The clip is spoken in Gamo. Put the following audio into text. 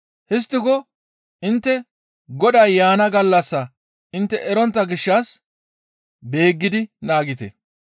«Histtiko intte Goday yaana gallassaa intte erontta gishshas beeggidi naagite.